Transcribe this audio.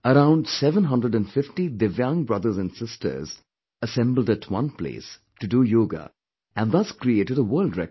Around 750 divyang brothers and sisters assembled at one place to do yoga and thus created a world record